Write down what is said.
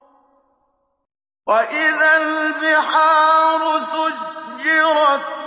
وَإِذَا الْبِحَارُ سُجِّرَتْ